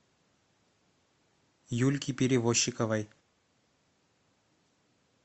юльки перевощиковой